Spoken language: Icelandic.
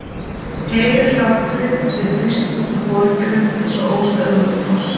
Heyrir hláturinn sem brýst út úr foringjanum eins og óstöðvandi foss.